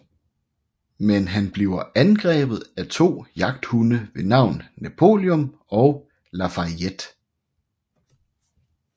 Men han bliver angrebet af to jagthunde ved navn Napoleon og Lafayette